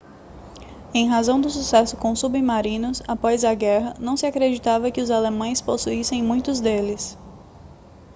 em razão do sucesso com submarinos após a guerra não se acreditava que os alemães possuíssem muitos deles